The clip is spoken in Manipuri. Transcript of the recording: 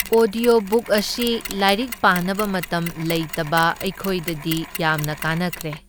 ꯑꯣꯗ꯭ꯌꯣ ꯕꯨꯛꯑꯁꯤ ꯂꯥꯏꯔꯤꯛ ꯄꯥꯅꯕ ꯃꯇꯝ ꯂꯩꯇꯕ ꯑꯩꯈꯣꯏꯗꯗꯤ ꯌꯥꯝꯅ ꯀꯥꯟꯅꯈ꯭ꯔꯦ꯫